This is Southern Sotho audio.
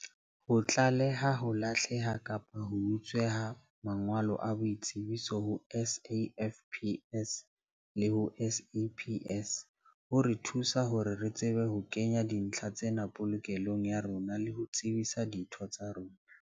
Ho tlaleha ho lahlehelwa kapa ho utswetswa mangolo a boitsebiso ho SAFPS le ho SAPS ho re thusa hore re tsebe ho kenya dintlha tsena polokelong ya rona le ho tsebisa ditho tsa rona.